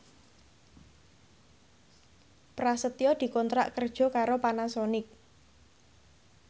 Prasetyo dikontrak kerja karo Panasonic